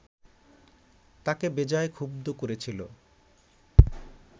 তাঁকে বেজায় ক্ষুব্ধ করেছিল